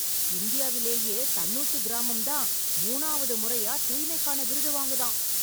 இந்தியாவிலேயே தன்னூத்து கிராமம் தான் மூணாவது முறையா தூய்மைக்கான விருது வாங்குதாம்!